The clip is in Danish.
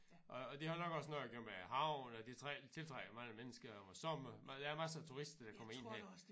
Og og det har nok også noget at gøre med æ havn og det tiltrækker mange mennesker om æ sommer der er mange turister her